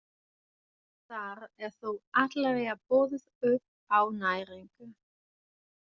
Þar er þó allavega boðið upp á næringu.